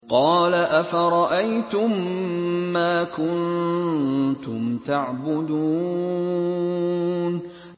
قَالَ أَفَرَأَيْتُم مَّا كُنتُمْ تَعْبُدُونَ